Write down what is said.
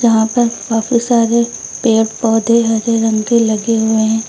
यहां पर काफी सारे पेड़ पौधे हरे रंग के लगे हुए हैं।